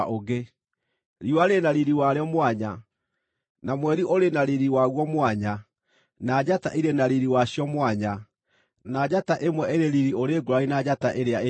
Riũa rĩrĩ na riiri warĩo mwanya, na mweri ũrĩ riiri waguo mwanya, na njata irĩ na riiri wacio mwanya; na njata ĩmwe ĩrĩ riiri ũrĩ ngũũrani na njata ĩrĩa ĩngĩ.